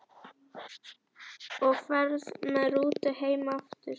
Og ferð með rútu heim aftur?